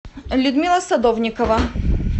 людмила садовникова